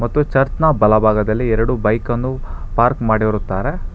ಮತ್ತು ಚರ್ಚ್ ನ ಬಲಭಾಗದಲ್ಲಿ ಎರಡು ಬೈಕನ್ನು ಪಾರ್ಕ್ ಮಾಡಿರುತ್ತಾರೆ.